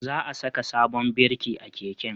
Za a saka sabon birki a keken